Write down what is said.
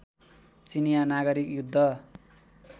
चिनियाँ नागरिक युद्ध